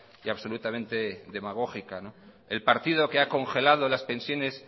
y absolutamente demagógica el partido que ha congelado las pensiones